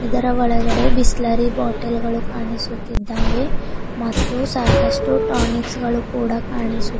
ಇದರ ಒಳಗಡೆ ಬಿಸ್ಲೇರಿ ಬಾಟಲ್ ಗಳು ಕಾಣಿಸುತ್ತಿದ್ದಾವೆ ಮತ್ತು ಸಾಕಷ್ಟು ಟಾನಿಕ್ಸ್ ಗಳು ಕೂಡ ಕಾಣಿಸು--